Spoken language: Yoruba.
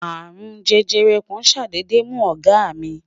arun jẹjẹrẹ kàn sadede mu ọgá mí